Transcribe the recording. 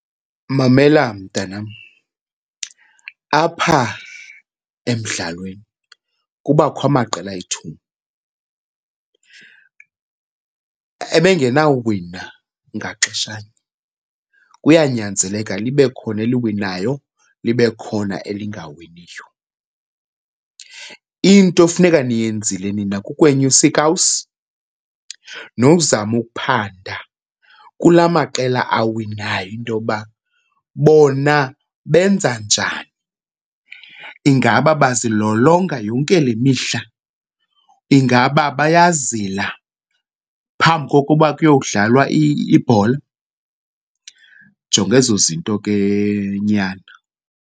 Mamela mntanam, apha emdlalweni kubakho amaqela ayi-two. Ebengenawuwina ngaxeshanye, kuyanyanzeleka libe khona eliwinayo libe khona elingawiniyo. Into efuneka niyenzile nina kukwenyusa iikawusi nozama ukuphanda kulaa maqela awinayo into yoba bona benza njani. Ingaba bazilolonga yonke le mihla? Ingaba bayazila phambi kokuba kuyowudlalwa ibhola? Jonga ezo zinto ke nyana.